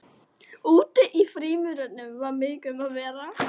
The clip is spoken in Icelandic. Úti í frímínútunum var mikið um að vera.